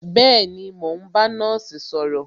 Bẹẹni, mo ń bá nọ́ọ̀sì sọ̀rọ̀